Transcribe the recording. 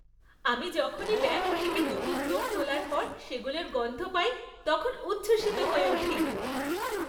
আমি যখনই ব্যাঙ্ক থেকে নতুন নোট তোলার পর সেগুলোর গন্ধ পাই, তখন উচ্ছ্বসিত হয়ে উঠি।